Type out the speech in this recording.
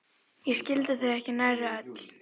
Ég skildi þau ekki nærri öll.